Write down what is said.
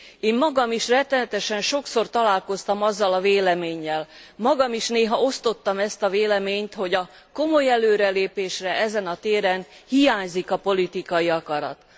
Én magam is rettenetesen sokszor találkoztam azzal a véleménnyel, magam is néha osztottam ezt a véleményt, hogy a komoly előrelépésre ezen a téren hiányzik a politikai akarat.